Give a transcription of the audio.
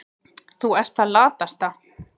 Þú ert það latasta.